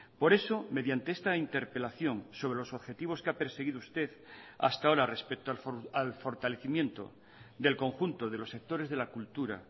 por eso mediante esta interpelación sobre los objetivos que ha perseguido usted hasta ahora respecto al fortalecimiento del conjunto de los sectores de la cultura